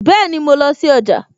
Bẹẹni, mo lọ sí ọjà